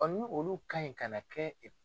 ni olu kan ɲi ka na kɛ